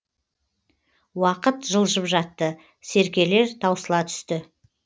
уақыт жылжып жатты серкелер таусыла түсті